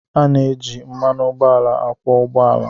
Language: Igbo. A na-eji mmanụ ụgbọala akwọ ụgbọ ala